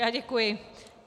Já děkuji.